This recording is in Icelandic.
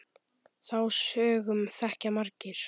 Þá sögu þekkja margir.